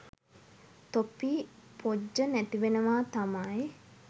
තොපි පොජ්ජ නැතිවෙනවා තමයි.